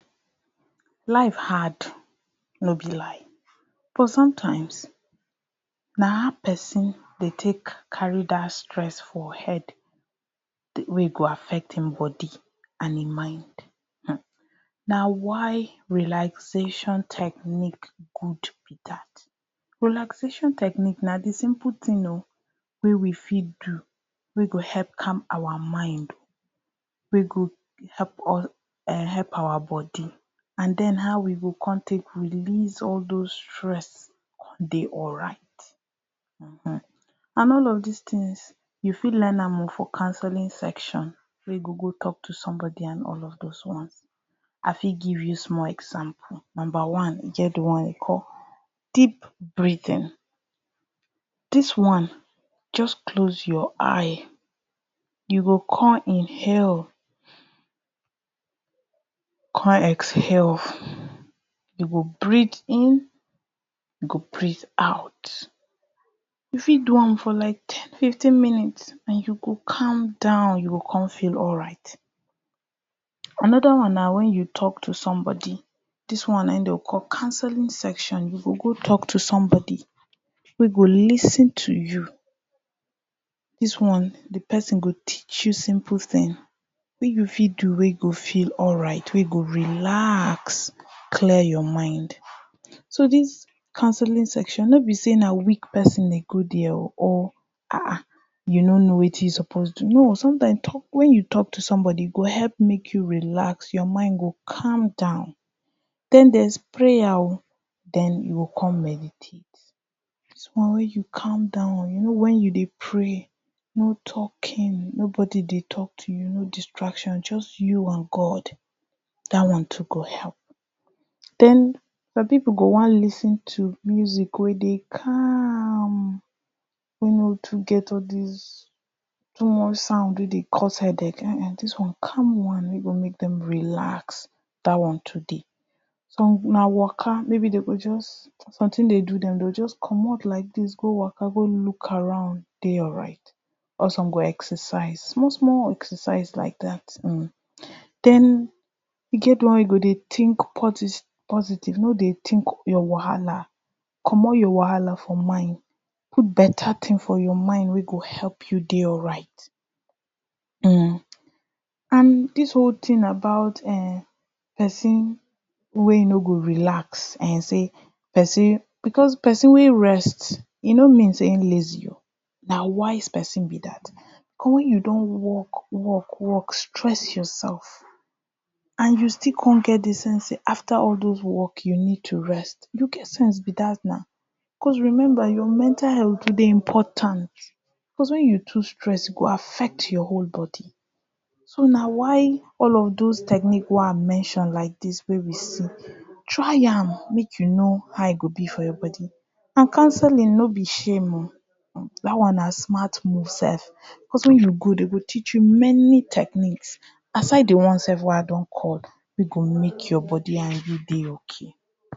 Life hard but sometimes na how person dey take carry Dat stress for head wey e go affect him body and him mind um, na why relaxation technique good, relaxation technique na di simple tin wey we fit do wey go help calm our mind wey go help us um help our body and den how we go con take release all those stress con dey alright [um]and all of dis tins you fit learn am o for counseling section wey go go talk to somebody and all of those ones, I fit give you small example, number one e get di one wey dey call deep breathing, dis one just close your eye you go con inhale con exhale, you go breath in, you go breath out, you fit do am for like ten fifteen minutes and you go calm down you go con feel alright, another one na when you talk to somebody, dis one na e dem o call counseling session, you go go talk to somebody wey go lis ten to you, dis one di person go teach you simple tin wey you fit do wey you go feel alright wey you go relax, clear your mind so dis counseling session no bi say na weak person dey go día o or um you no no wetin you suppose do, no, sometimes when you talk to somebody, e go help make you relax, your mind go calm down then día is prayer o, den you go con meditate, dis one wey you calm down you know when you meditate, no talking, nobody dey talk to you, just you and God, that one too go help then some people go wọn lis ten to music wey dey calm wey no too get all dis toi much sound wey dey cos headache um calm one wey go make dem release, Dat one too dey, some na waka, maybe dem go just, something dey do dem, dey o just commot like dis go waka, go look around dey alright or some go exercise, small small exercise like dat, then e get di one wey go dey think positive, na dry think your wahala, commot your wahala for mind, put better tin for your mind wey go help you dey alright um and dis whole tin about person wey no go relax say person because person wey rest, e no mean say him lazy o, na wise person bi dat cos wen you don work work, stress yourself and you still get di sense say after all those work you need to rest, you get sense bi dat na cos remember your mental health dey important cos wen you too stress, e go affect your whole body so na why all of those techniques wey I mention like dis wey we see, try am make you know how e bi for your body, and counseling no bi shame o, dat one na smart move self, when you go, dem go teach you many techniques aside di one wey i mention wey go make your body and you dey OK.